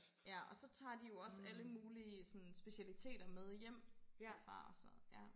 Ja og så tager de jo også alle mulige sådan specialiteter med hjem derfra og så ja